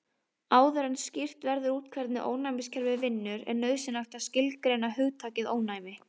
Áður en skýrt verður út hvernig ónæmiskerfið vinnur er nauðsynlegt að skilgreina hugtakið ónæmi.